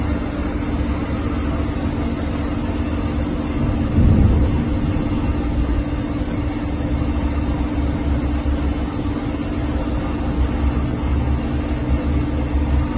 Qars sərnişin stansiyasından sentyabr ayının 2-də və 9-da Bakı sərnişin stansiyasına gəlməyəcəkdir.